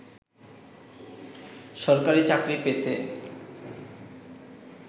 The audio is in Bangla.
সরকারি চাকরি পেতে